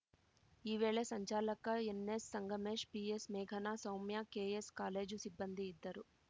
ಈ ವೇಳೆ ಸಂಚಾಲಕ ಎನ್‌ಎಸ್‌ಸಂಗಮೇಶ್‌ ಪಿಎಸ್‌ಮೇಘನಾ ಸೌಮ್ಯ ಕೆಎಸ್‌ ಕಾಲೇಜು ಸಿಬ್ಬಂದಿ ಇದ್ದರು